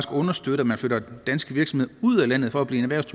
understøtte at man flytter danske virksomheder ud af landet for at blive